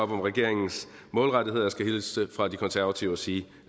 regeringens målrettethed og jeg skal hilse fra de konservative og sige